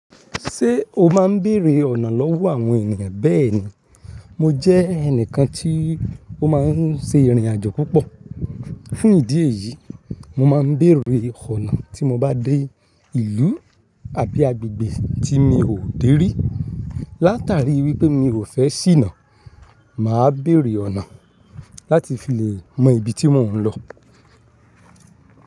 Ṣé o má ń bèrè ọ̀nà lọ́wọ́ àwọn ènìyàn? Bẹ́ẹ̀ni, mo jẹ́ ẹnìkan tí ó má ń ṣe ìrìnàjò púpọ̀. Fún ìdí èyí, mo má ń bèrè ọ̀nà tí mo bá dé ìlú àbí agbègbè tí mi ò dé rí. Látàrí wípé mi ò fẹ́ ṣìnà, mà á bẹ̀rẹ̀ ọ̀nà láti fi lè mọ ibi tí mo ń lọ.